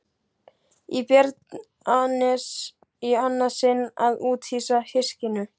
Í Bjarnanes í annað sinn að úthýsa hyskinu.